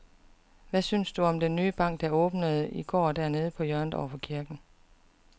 Hvad synes du om den nye bank, der åbnede i går dernede på hjørnet over for kirken?